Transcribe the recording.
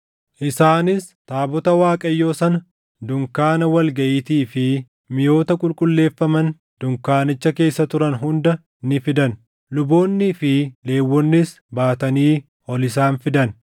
isaanis taabota Waaqayyoo sana, dunkaana wal gaʼiitii fi miʼoota qulqulleeffaman dunkaanicha keessa turan hunda ni fidan. Luboonnii fi Lewwonnis baatanii ol isaan fidan;